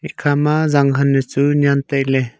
ekha ma zanghan nu chu nyian tai ley.